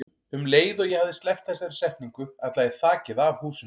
Um leið og ég hafði sleppt þessari setningu ætlaði þakið af húsinu.